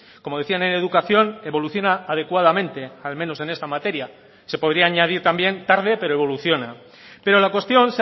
como decían en educación evoluciona adecuadamente al menos en esta materia se podría añadir también tarde pero evoluciona pero la cuestión